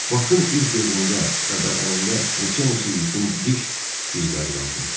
Bakın üz-gözündə və bədənində neçə-neçə itin diş izləri qalmışdı.